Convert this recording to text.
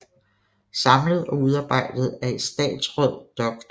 Samlet og udarbejdet af Etatsraad Dr